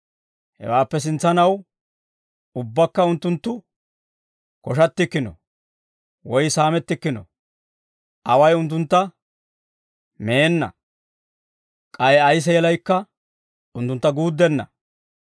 Hawaappe sintsanaw ubbakka, unttunttu koshattikkino; woy saamettikkino. Away unttuntta meenna; k'ay ay seelaykka unttuntta guuddenna.